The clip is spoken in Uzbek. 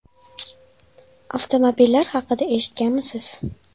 Avtomobillar haqida eshitganmisiz?